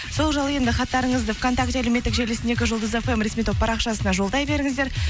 сол жайлы енді хаттарыңызды вконтакте әлеуметтік желісіндегі жұлдыз фм ресми топ парақшасына жолдай беріңіздер